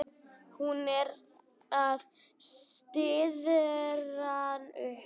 Hún er að stirðna upp.